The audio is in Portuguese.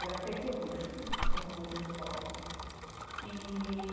Era Pequerrucho, o nome da escola e.